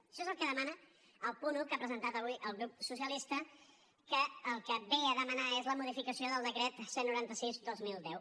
això és el que demana el punt un que ha presentat avui el grup socialista que el que ve a demanar és la modificació del decret cent i noranta sis dos mil deu